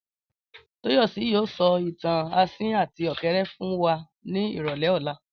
Tóyọ̀sí yóò sọ ìtàn asín àti ọ̀kẹ́rẹ́ fún wa ní ìrọ̀lẹ́ ọ̀la